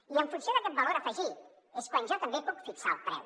i en funció d’aquest valor afegit és quan jo també puc fixar el preu